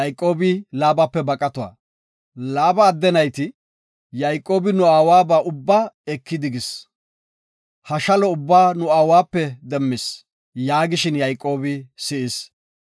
Laaba adde nayti, “Yayqoobi nu aawaba ubba ekidigis. Ha shalo ubba nu aawabape demmis” yaagishin Yayqoobi si7is.